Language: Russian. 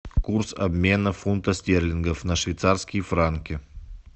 курс обмена фунта стерлингов на швейцарские франки